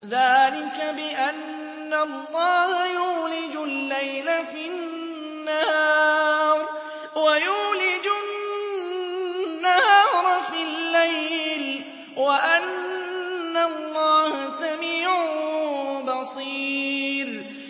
ذَٰلِكَ بِأَنَّ اللَّهَ يُولِجُ اللَّيْلَ فِي النَّهَارِ وَيُولِجُ النَّهَارَ فِي اللَّيْلِ وَأَنَّ اللَّهَ سَمِيعٌ بَصِيرٌ